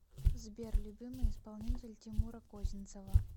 сбер любимый исполнитель тимура козинцева